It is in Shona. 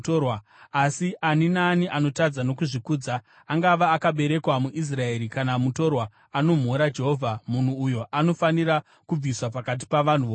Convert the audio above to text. “ ‘Asi ani naani anotadza nokuzvikudza, angava akaberekwa muIsraeri kana mutorwa, anomhura Jehovha, munhu uyo anofanira kubviswa pakati pavanhu vokwake.